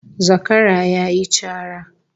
Zakara yayi cara